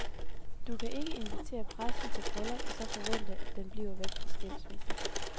Du kan ikke invitere pressen til bryllup og så forvente, den bliver væk fra skilsmissen.